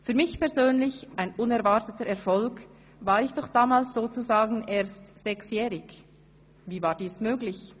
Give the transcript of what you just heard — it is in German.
Für mich persönlich ein unerwarteter Erfolg, war ich damals sozusagen erst ‹6-jährig›. Wie war dies möglich?